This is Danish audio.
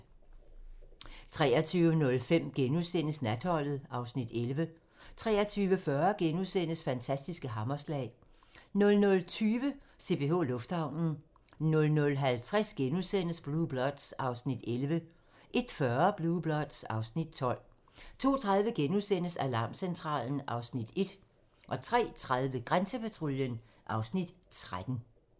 23:05: Natholdet (Afs. 11)* 23:40: Fantastiske hammerslag * 00:20: CPH Lufthavnen 00:50: Blue Bloods (Afs. 11)* 01:40: Blue Bloods (Afs. 12) 02:30: Alarmcentralen (Afs. 1)* 03:30: Grænsepatruljen (Afs. 13)